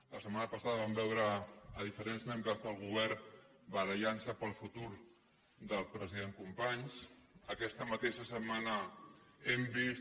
la setmana passada vam veure diferents membres del govern barallant se pel futur del president companys aquesta mateixa setmana hem vist